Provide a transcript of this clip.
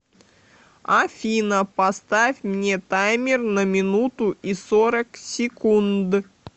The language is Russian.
афина поставь мне таймер на минуту и сорок секунд